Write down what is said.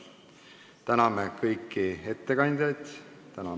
Tänan kõiki ettekandjaid!